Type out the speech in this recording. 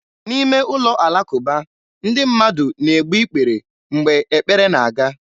N'ime ụlọ alakụba, ndị mmadụ na-egbu ikpere mgbe ekpere na-aga.